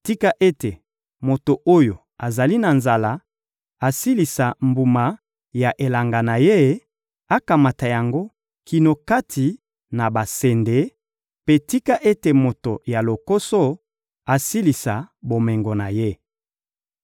Tika ete moto oyo azali na nzala asilisa mbuma ya elanga na ye, akamata yango kino kati na basende; mpe tika ete moto ya lokoso asilisa bomengo na ye!›